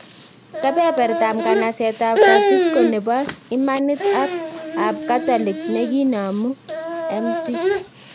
Kebebertab nganaset ab Francisco nebo imanit ab Katolik nekinamu Mt.